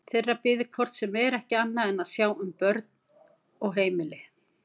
Þeirra biði hvort sem er ekki annað en að sjá um heimili og börn.